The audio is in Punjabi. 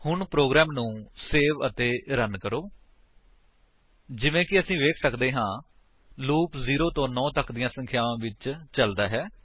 ਹੁਣ ਪ੍ਰੋਗਰਾਮ ਨੂੰ ਸੇਵ ਅਤੇ ਰਨ ਕਰੋ ਜਿਵੇਂ ਕਿ ਅਸੀ ਵੇਖ ਸੱਕਦੇ ਹਾਂ ਲੂਪ 0 ਤੋ 9 ਤੱਕ ਦੀਆਂ ਸੰਖਿਆਵਾਂ ਵਿੱਚ ਚਲਦਾ ਹੈ